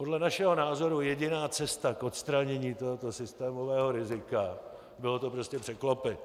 Podle našeho názoru jediná cesta k odstranění tohoto systémového rizika bylo to prostě překlopit.